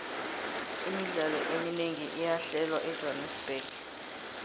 imidlalo eminengi iyahlelwa ejohannerbuxg